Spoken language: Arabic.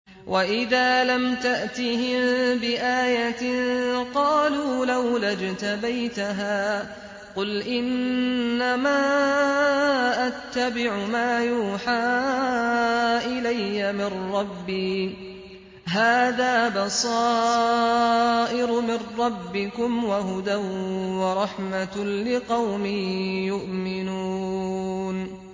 وَإِذَا لَمْ تَأْتِهِم بِآيَةٍ قَالُوا لَوْلَا اجْتَبَيْتَهَا ۚ قُلْ إِنَّمَا أَتَّبِعُ مَا يُوحَىٰ إِلَيَّ مِن رَّبِّي ۚ هَٰذَا بَصَائِرُ مِن رَّبِّكُمْ وَهُدًى وَرَحْمَةٌ لِّقَوْمٍ يُؤْمِنُونَ